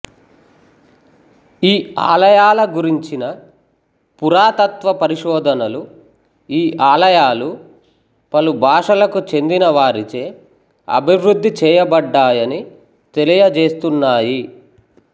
ఈ ఆలయాల గురించిన పురాతత్వపరిశోధనలు ఈ ఆలయాలు పలుభాషలకు చెందిన వారిచే అభివృద్ధిచేయబడ్డాయని తెలియజేస్తున్నాయి